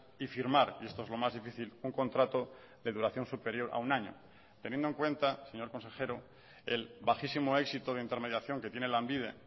y firmar y esto es lo más difícil un contrato de duración superior a un año teniendo en cuenta señor consejero el bajísimo éxito de intermediación que tiene lanbide